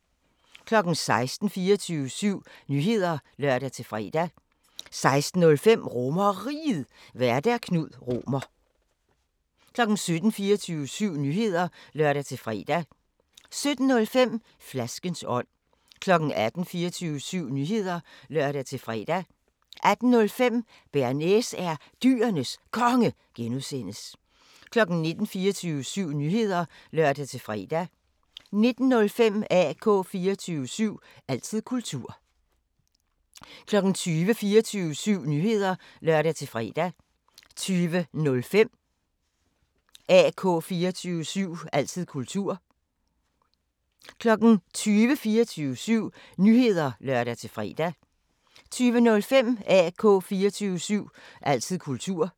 16:00: 24syv Nyheder (lør-fre) 16:05: RomerRiget, Vært: Knud Romer 17:00: 24syv Nyheder (lør-fre) 17:05: Flaskens ånd 18:00: 24syv Nyheder (lør-fre) 18:05: Bearnaise er Dyrenes Konge (G) 19:00: 24syv Nyheder (lør-fre) 19:05: AK 24syv – altid kultur 20:00: 24syv Nyheder (lør-fre) 20:05: AK 24syv – altid kultur